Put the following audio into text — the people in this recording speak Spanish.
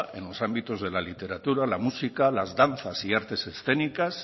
en los ámbitos de la literatura la música las danzas y artes escénicas